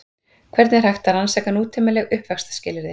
Hvernig er hægt að rannsaka nútímaleg uppvaxtarskilyrði?